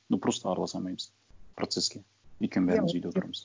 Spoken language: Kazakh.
ну просто араласа алмаймыз процесске өйткені бәріміз үйде отырамыз